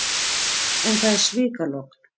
En það er svikalogn.